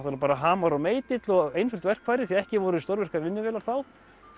bara hamar og meitill og einföld verkfæri því ekki voru stórvirkar vinnuvélar þá